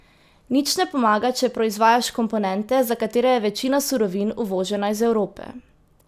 Nič ne pomaga, če proizvajaš komponente, za katere je večina surovin uvožena iz Evrope.